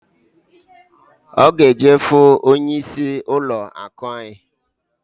Ọ g'eje fụ onye isi ụlọ akụ anyị.